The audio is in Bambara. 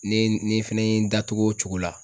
Ne ni fɛnɛ ye n da togo o cogo la.